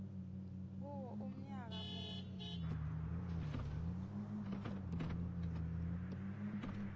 kuwo umnyaka munye